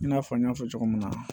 I n'a fɔ n y'a fɔ cogo min na